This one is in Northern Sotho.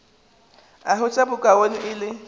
a hwetša bokaone e le